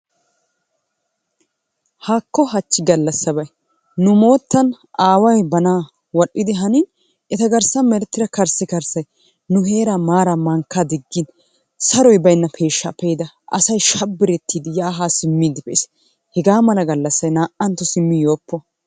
Haakko hachi galassabay nu moottan aaway ba naa'a wadhdhidi hanini etta garssan meretidda karssikarssay nu heera maara mankkaa diggin saroy baynna peeshsha pe'da asay shabbretidi ya ha simmidi hegaa malla gallassay na'anttuwaa simmi yooppo.